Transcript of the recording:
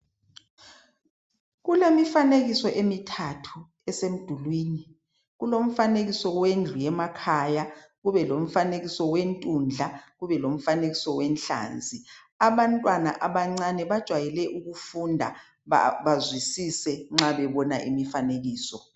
Kulemifanekiso emithathu esemdulwini. Kulomfanenekiso wendlu yemakhaya, kube lomfanekiso wentundla, kube lomfanekiso wenhlanzi. Abantwana abancane bajwayele ukufunda bazwisise nxa bebona imifanekiso.